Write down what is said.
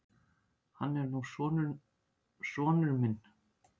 Hann er nú sonur minn.